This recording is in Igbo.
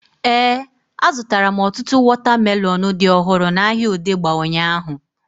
Éè, a zụtara m ọtụtụ wọta melọnu dị ọhụrụ n'ahia Odegba ụnyaahụ